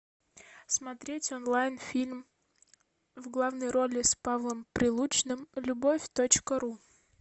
смотреть онлайн фильм в главной роли с павлом прилучным любовь точка ру